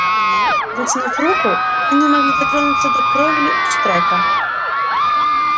вытянув руку они могли дотронуться до кровли штрека